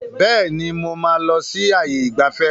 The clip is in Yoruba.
Bẹ́ẹ̀ni, mo máa lọ sí ààyè ìgbafẹ́.